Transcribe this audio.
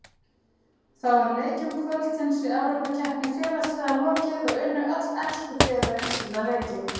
Þá er leikjum kvöldsins í Evrópukeppni félagsliða lokið og unnu öll ensku félögin sína leiki.